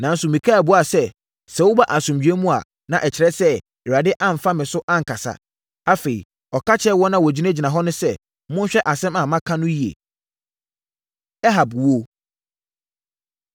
Nanso, Mikaia buaa sɛ, “Sɛ woba asomdwoeɛ mu a, na ɛkyerɛ sɛ, Awurade amfa me so ankasa!” Afei, ɔka kyerɛɛ wɔn a wɔgyinagyina hɔ no sɛ, “Monhwɛ asɛm a maka no yie.” Ahab Owuo